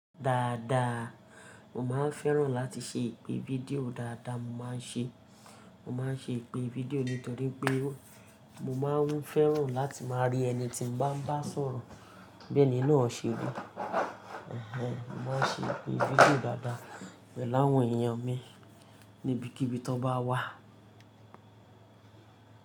Dáadáa, mo máa ń fẹ́ràn láti ṣe ìpè video dáadáa, mo máa ń ṣe, mo máa ń ṣe ìpè video nítorí pé mo máa ń fẹ́ràn láti máa rí ẹni tí n bá ń bá sọ̀rọ̀ bí ẹni náà ṣe wa. Ẹ̀hẹ̀, mo máa ń ṣe ìpè video dáadáa pẹ̀lú àwọn èèyàn mi níbikíbi tó bá wà.